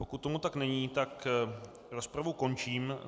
Pokud tomu tak není, tak rozpravu končím.